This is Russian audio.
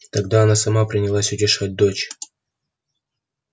тогда она сама принялась утешать дочь